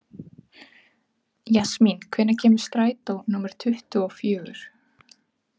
Jasmín, hvenær kemur strætó númer tuttugu og fjögur?